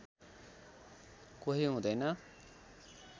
कोही हुँदैन